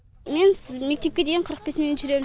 мен мектепке дейін қырық бес минут жүрем